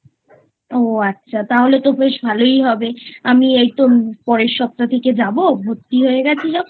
ও আচ্ছা তাহলে তো বেশ ভালোই হবে আমি এইতো পরের সপ্তাহ থেকে যাবো ভর্তি হয়ে গেছি যখন